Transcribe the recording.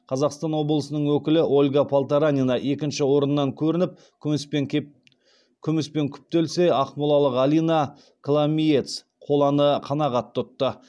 қазақстан облысының өкілі ольга полторанина екінші орыннан көрініп күміспен күптелсе ақмолалық алина коломиец қоланы қанағат тұтты